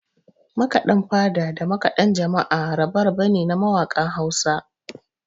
Makaɗan fada da makaɗan jama'a rabe-rabe ne na mawakan Hausa